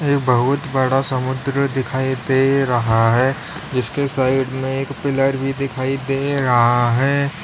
ये बहुत बड़ा समुद्र दिखाई दे रहा है जिसके साइड में एक पिलर भी दिखाई दे रहा है।